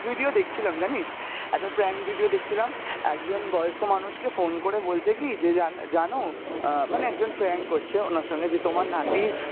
video দেখছিলাম জানিস, একটা prank video দেখছিলাম একজন বয়স্ক মানুষকে phone করে বলছে কী যে জা~জানো আহ মানে একজন prank করছে ওনার সঙ্গে যে তোমার নাতির,